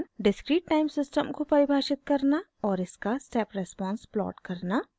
* discrete time system को परिभाषित करना और इसका स्टेप रेस्पोंस प्लॉट करना